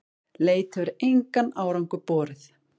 Leit hefur engan árangur borið.